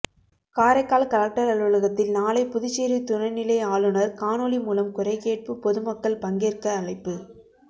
Karaikal collector அலுவலகத்தில் நாளை புதுச்சேரி துணை நிலை ஆளுநர் காணொளி மூலம் குறைகேட்பு பொதுமக்கள் பங்கேற்க அழைப்பு